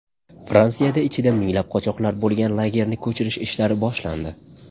Fransiyada ichida minglab qochoqlar bo‘lgan lagerni ko‘chirish ishlari boshlandi.